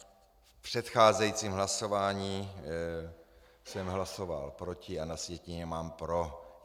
V předcházejícím hlasování jsem hlasoval proti, a na sjetině mám pro.